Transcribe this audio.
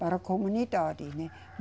Para a comunidade, né?